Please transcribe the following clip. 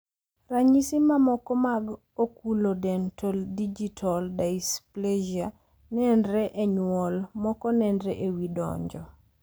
Ranyisi mamoko mag oculodentodigital dysplasia nenre enyuol, moko nenre ewi dongo.